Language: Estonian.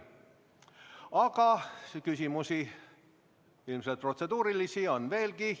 Aga küsimusi, ilmselt protseduurilisi, on veelgi.